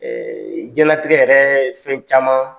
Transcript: diɲɛlatigɛ yɛrɛ fɛn caman